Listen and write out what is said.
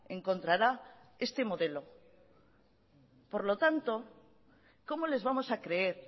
encontrará este modelo por lo tanto cómo les vamos a creer